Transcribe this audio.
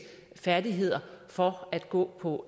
færdigheder for at gå på